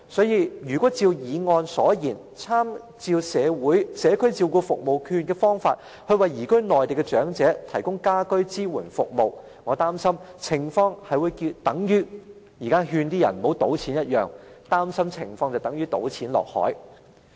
如果按照議案建議，參照長者社區照顧服務券試驗計劃，為移民內地的長者提供居家安老支援服務，我擔心情況會等於現時勸人不要賭錢的廣告般，如同"倒錢下海"。